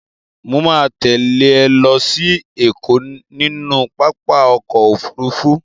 Mo ma tẹ́lẹ̀ ẹ lọ sí Ẹ̀kọ́ nínú pápá ọkọ̀ Òfurufú.